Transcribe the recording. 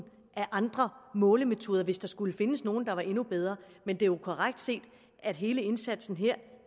andre målemetoder hvis der skulle findes nogle der er endnu bedre men det er jo korrekt set at hele indsatsen